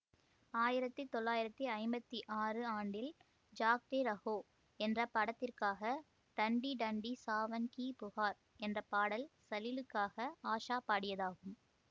ஆயிரத்தி தொள்ளாயிரத்தி ஐம்பத்தி ஆறு ஆண்டில் ஜாக்தே ரஹோ என்ற படத்திற்காக டண்டி டண்டி சாவன் கி புகார் என்ற பாடல் சலிலுக்காக ஆஷா பாடியதாகும்